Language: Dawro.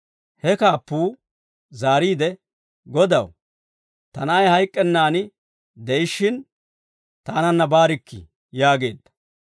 He kaappuu zaariide, «Godaw, ta na'ay hayk'k'ennan de'ishshin, taananna baarikkii» yaageedda.